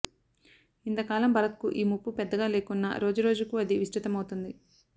ఇంతకాలం భారత్కు ఈ ముప్పు పెద్దగా లేకున్నా రోజురోజుకూ అది విస్తృతమవుతోంది